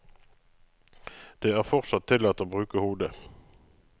Det er fortsatt tillatt å bruke hodet.